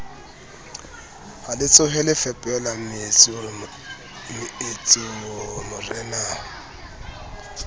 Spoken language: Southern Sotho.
ha letsohole fepela mmetso morenao